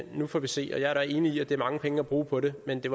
nu får vi se jeg er da enig i at det er mange penge at bruge på det men det